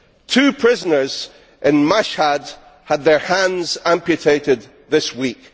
Two prisoners in Mashhad had their hands amputated this week